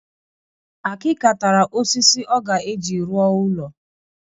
Akika tara osisi ọ ga-eji ruọ ulo